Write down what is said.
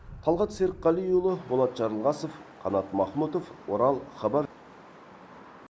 талғат серікқалиұлы болат жарылғасов қанат махмұтов орал хабар